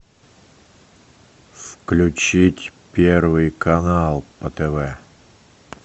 включить первый канал по тв